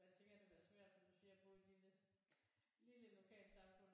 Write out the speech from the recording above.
For jeg tænker at det bliver svært som du siger at bo i et lille lille lokalsamfund